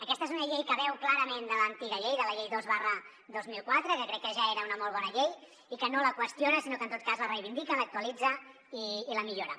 aquesta és una llei que beu clarament de l’antiga llei de la llei dos dos mil quatre que crec que ja era una molt bona llei i no la qüestiona sinó que en tot cas la reivindica l’actualitza i la millora